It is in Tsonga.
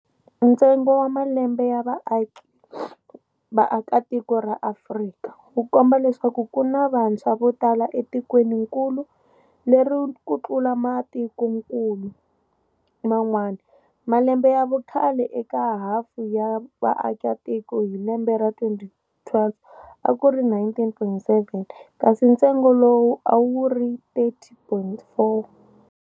Ntsengo wa malembe ya vaakatiko ra Afrika, wukomba leswaku kuna vantshwa votala etikweninkulu leri kutlula matikonkulu man'wana, Malembe ya vukhale eka hafu ya vaaka tiko hilembe ra 2012 akuri 19.7, kasi ntsengo lowu awuri 30.4.